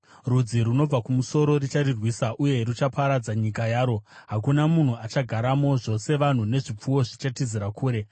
Rudzi runobva kumusoro rucharirwisa, uye ruchaparadza nyika yaro. Hakuna munhu achagaramo; zvose vanhu nezvipfuwo zvichatizira kure.